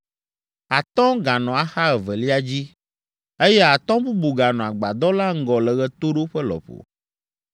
atɔ̃ ganɔ axa evelia dzi, eye atɔ̃ bubu ganɔ agbadɔ la ŋgɔ le ɣetoɖoƒe lɔƒo.